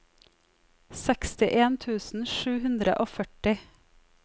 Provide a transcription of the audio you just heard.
sekstien tusen sju hundre og førti